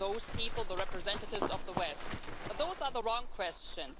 Are those people the representatives of the West? But those are the wrong questions.